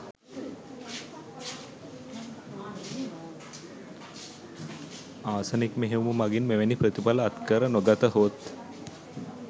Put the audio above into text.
arsenic මෙහෙයුම මගින් මෙවැනි ප්‍රථිඵල අත්කර නොගතහොත්